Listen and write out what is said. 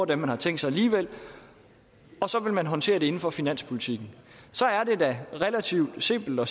dem man havde tænkt sig og så vil man håndterer det inden for finanspolitikken så er det da relativt simpelt at